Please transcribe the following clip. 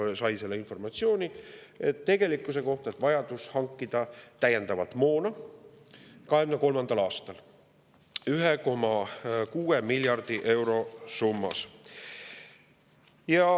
Valitsus sai selle informatsiooni, et 2023. aastal on vaja hankida täiendavalt moona summas 1,6 miljardit eurot.